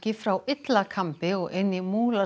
frá Illakambi og inn í